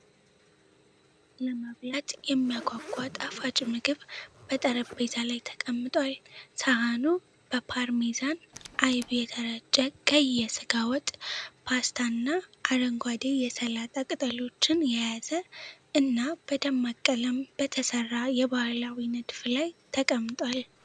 ለመብላት የሚያጓጓ ጣፋጭ ምግብ በጠረጴዛ ላይ ተቀምጧል። ሳህኑ በፓርሜዛን አይብ የተረጨ ቀይ የስጋ ወጥ፣ ፓስታ እና አረንጓዴ የሰላጣ ቅጠሎችን የያዘ እና በደማቅ ቀለም በተሰራ የባህላዊ ንድፍ ላይ ተቀምጧል።